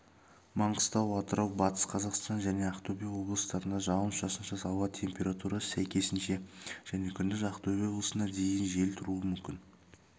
маңғыстау атырау батыс қазақстан және ақтөбе облыстарында жауын-шашынсыз ауа температурасы сәйкесінше және күндіз ақтөбе облысында дейін жел тұруы мүмкін